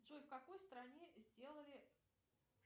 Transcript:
джой в какой стране сделали